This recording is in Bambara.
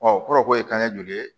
o kɔrɔ ko ye kanɲɛ joli ye